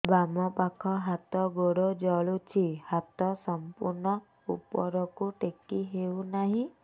ବାମପାଖ ହାତ ଗୋଡ଼ ଜଳୁଛି ହାତ ସଂପୂର୍ଣ୍ଣ ଉପରକୁ ଟେକି ହେଉନାହିଁ